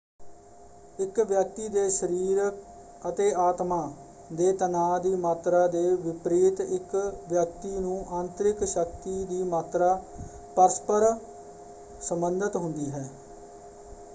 ਇਕ ਵਿਅਕਤੀ ਦੇ ਸਰੀਰ ਅਤੇ ਆਤਮਾਂ ਦੇ ਤਨਾਅ ਦੀ ਮਾਤਰਾ ਦੇ ਵਿਪਰੀਤ ਇਕ ਵਿਅਕਤੀ ਨੂੰ ਆਂਤਰਿਕ ਸ਼ਕਤੀ ਦੀ ਮਾਤਰਾ ਪਰਸਪਰ ਸੰਬੰਧਿਤ ਹੁੰਦੀ ਹੈ।